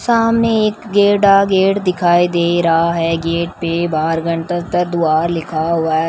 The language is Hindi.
सामने एक गेडा गेट दिखाई दे रहा है गेट पर बारघंटस्तर द्वार लिखा हुआ --